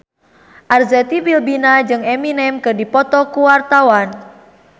Arzetti Bilbina jeung Eminem keur dipoto ku wartawan